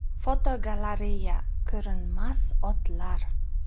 Fotogalereya: Ko‘rinmas otlar.